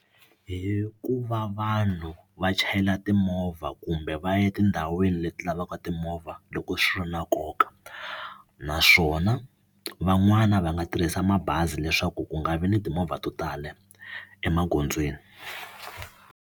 Hi ku va vanhu va chayela timovha kumbe va ya etindhawini leti lavaka timovha loko swi ri na nkoka naswona van'wani va nga tirhisa mabazi leswaku ku nga vi ni timovha to tala emagondzweni.